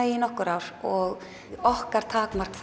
í nokkur ár og okkar takmark